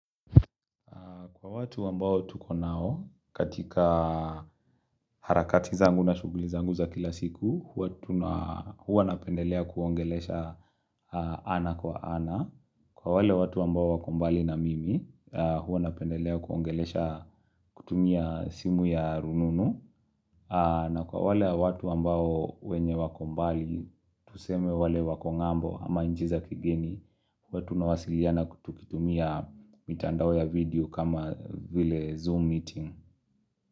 Kwa watu wambao tuko nao katika harakati zangu na shuguli zangu za kila siku, huwa napendelea kuongelea ana kwa ana. Kwa wale watu wambao wakombali na mimi, huwa napendelea kuongelea kutumia simu ya rununu. Na kwa wale watu ambao wenye wakombali, tuseme wale wakombali ama njiza kigeni, Kwa tunawasiliana kutukitumia mitandawe ya video kama vile Zoom meeting.